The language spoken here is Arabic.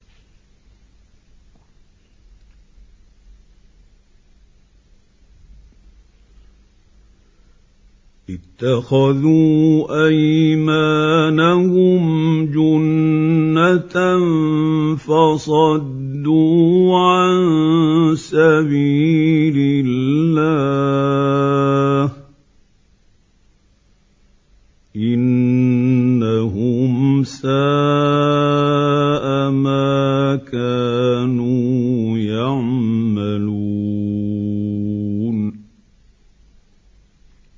اتَّخَذُوا أَيْمَانَهُمْ جُنَّةً فَصَدُّوا عَن سَبِيلِ اللَّهِ ۚ إِنَّهُمْ سَاءَ مَا كَانُوا يَعْمَلُونَ